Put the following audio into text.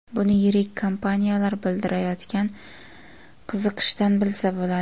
Buni yirik kompaniyalar bildirayotgan qiziqishdan bilsa bo‘ladi.